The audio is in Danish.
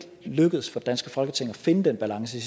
lykkedes for det danske folketing at finde den balance